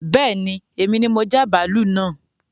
Bẹ́ẹ̀ni èmi ni mo já bàálú naa